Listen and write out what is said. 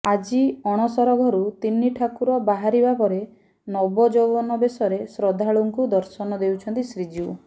ଆଜି ଅଣସର ଘରୁ ତିନି ଠାକୁର ବାହାରିବା ପରେ ନବଯୌବନ ବେଶରେ ଶ୍ରଦ୍ଧାଳକୁଙ୍କୁ ଦର୍ଶନ ଦେଉଛନ୍ତି ଶ୍ରୀଜିଉ